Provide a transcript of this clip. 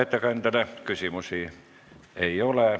Ettekandjale küsimusi ei ole.